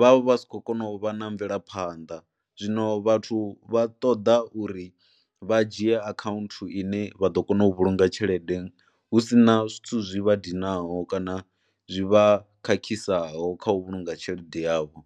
vha vha si khou kona u vha na mvelaphanḓa zwino vhathu vha ṱoḓa uri vha dzhie akhaunthu ine vha ḓo kona u vhulunga tshelede hu si na zwithu zwi vha dinaho kana zwi vha khakhisaho kha u vhulunga tshelede yavho.